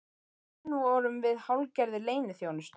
Í raun vorum við hálfgerðir leyniþjónustu